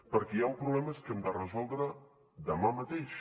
perquè hi han problemes que hem de resoldre demà mateix